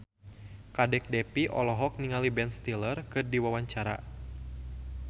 Kadek Devi olohok ningali Ben Stiller keur diwawancara